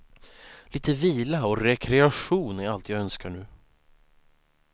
Lite vila och rekreation är allt jag önskar nu.